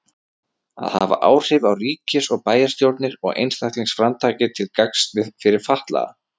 Að hafa áhrif á ríkis- og bæjarstjórnir og einstaklingsframtakið til gagns fyrir fatlaða.